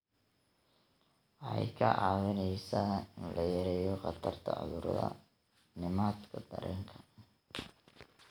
Waxay kaa caawinaysaa in la yareeyo khatarta cudurrada nidaamka dareenka.